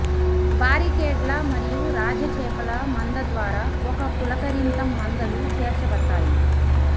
బారికేడ్ల మరియు రాజ చేపల మంద ద్వారా ఒక పులకరింత మందలు చేర్చబడతాయి